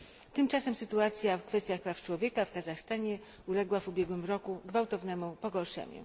Tymczasem sytuacja w kwestiach praw człowieka w Kazachstanie uległa w ubiegłym roku gwałtownemu pogorszeniu.